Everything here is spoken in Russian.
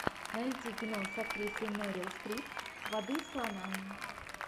найти кино с актрисой мэрил стрип воды слонам